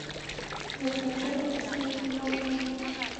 закачай последний вагон